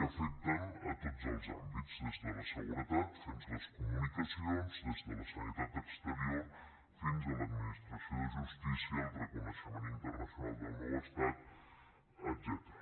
que afecten tots els àmbits des de la seguretat fins a les comunicacions des de la sanitat exterior fins a l’administració de justícia el reconeixement internacional del nou estat etcètera